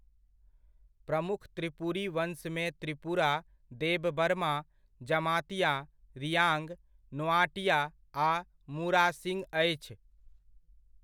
प्रमुख त्रिपुरी वंशमे त्रिपुरा, देबबर्मा, जमातिया, रियाँग, नोआटिया आ मुरासिंग अछि।